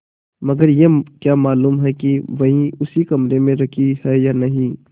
मगर यह क्या मालूम कि वही उसी कमरे में रखी है या नहीं